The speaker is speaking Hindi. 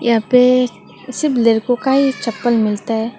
यहां पे सिर्फ लड़कों का ही चप्पल मिलता है।